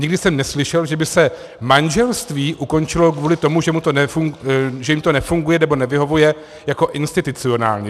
Nikdy jsem neslyšel, že by se manželství ukončilo kvůli tomu, že jim to nefunguje nebo nevyhovuje jako institucionálně.